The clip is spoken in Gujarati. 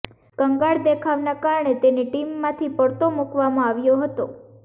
કંગાળ દેખાવના કારણે તેને ટીમમાંથી પડતો મુકવામાં આવ્યો હતો